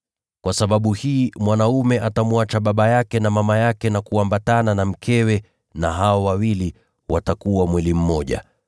Kwa sababu hii mwanaume atamwacha baba yake na mama yake na kuambatana na mkewe, na hao wawili watakuwa mwili mmoja.’